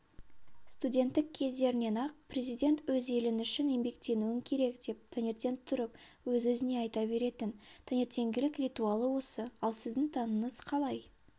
студенттік кездерінен-ақ президент өз елің үшін еңбектенуің керек деп таңертең тұрып өз-өзіне айта беретін таңертеңгілік ритуалы осы ал сіздің таңыңыз қалай